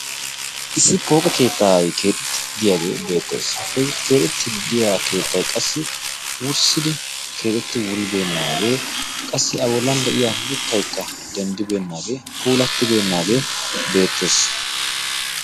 issi pooqe keettaai keexetti diyaagee beettees ha keexettididdiya keettai qassi wurssidi keexetti wuribeennaagee qassi awollan de7iya mittaikka denddibeennaagee puulattibeennaagee beettees